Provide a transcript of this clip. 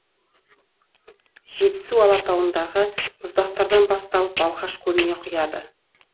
жетісу алатауындағы мұздықтардан басталып балқаш көліне құяды